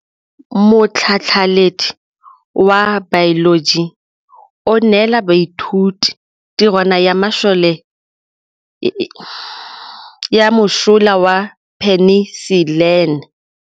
Motlhatlhaledi wa baeloji o neela baithuti tirwana ya mosola wa peniselene.